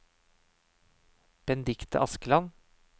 Benedicte Askeland